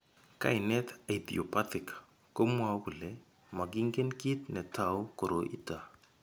Kainet "idiopathic" komwou kole makingen kit ne tou koroi ito.